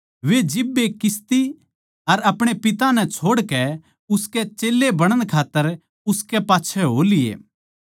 वे जिब्बे नाव अर अपणे पिता नै छोड़कै उसके चेल्लें बणण खात्तर उसकै पाच्छै हो लिये